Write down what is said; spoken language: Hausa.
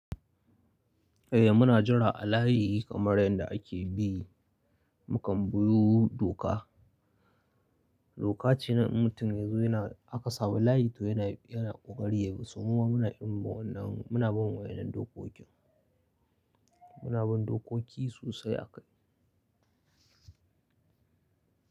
Eh muna jira a layi kamar yanda ake bi. Mukan buyo doka, doka ce nan in mutum ya zo yana aka samu layi to yana, yana ƙoƙari ya bi. So muma muna irin wa wannan muna bin wa yannan dokokin, muna bin dokoki sosai a kai.